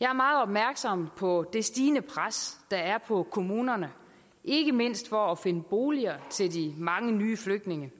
jeg er meget opmærksom på det stigende pres der er på kommunerne ikke mindst for at finde boliger til de mange nye flygtninge